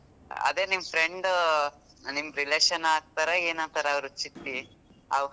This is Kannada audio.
ಅದೇ ನಿಮ್ಮ್ friend ನಿಮ್ಮ್ relation ಆಗ್ತಾರಾ ಏನ್ ಆಗ್ತಾರಾ ಅವ್ರು ಚಿಟ್ಟಿ ಅವ್.